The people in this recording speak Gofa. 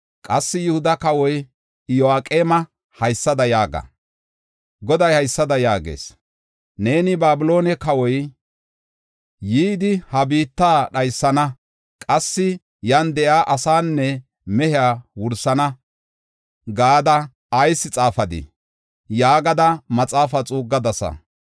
Qassi Yihuda kawa Iyo7aqeema haysada yaaga: Goday haysada yaagees; Neeni, ‘Babiloone kawoy yidi, ha biitta dhaysana; qassi yan de7iya asaanne mehiya wursana’ gada ayis xaafadii?” yaagada maxaafaa xuuggadasa.